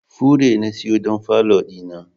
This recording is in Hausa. fure na siyo don falo dina.